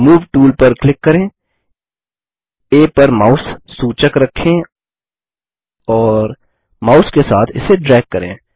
move tool पर click करें आ पर माउस सूचक रखें और माउस के साथ इसे ड्रैग करें